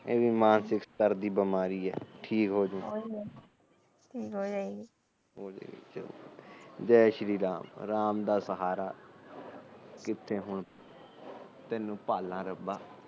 ਇਹ ਵੀ ਮਾਨਸਿਕ ਸਤਰ ਦੀ ਬਿਮਾਰੀ ਆ ਠੀਕ ਹੋਜੁ ਜੈ ਸ਼੍ਰੀ ਰਾਮ ਰਾਮ ਦਾ ਸਹਾਰਾ ਕਿਥੇ ਹੁਣ ਤੈਨੂੰ ਪਾਲਾ ਰੱਬਾ